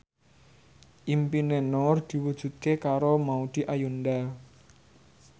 impine Nur diwujudke karo Maudy Ayunda